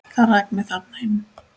Það rak mig þarna inn.